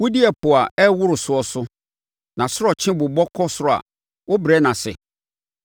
Wodi ɛpo a ɛreworo soɔ so; nʼasorɔkye bobɔ kɔ ɔsoro a, wobrɛ no ase.